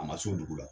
A ma s'o dugu la